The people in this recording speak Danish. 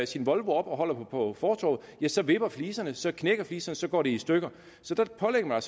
sin volvo op og holder på fortovet ja så vipper fliserne så knækker de så så går de i stykker så der pålægger man